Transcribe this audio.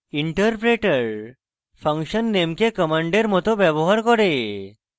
interpreter function name the command মত ব্যবহার করে